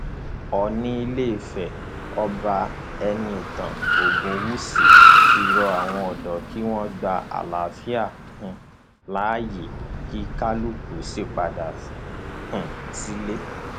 oòní ilé ìfẹ ọba ẹnìtàn ogunwúsì ti rọ àwọn ọdọ kí wọn gba àlàáfíà um láàyè kí kálukú sì padà um sílé